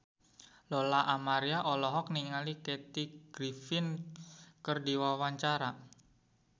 Lola Amaria olohok ningali Kathy Griffin keur diwawancara